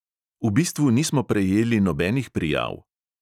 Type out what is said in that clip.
V bistvu nismo prejeli nobenih prijav.